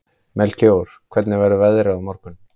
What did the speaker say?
Melkíor, hvernig verður veðrið á morgun?